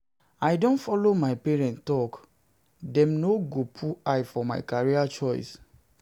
I don folo my parents tok, dem no go put eye for my career choice.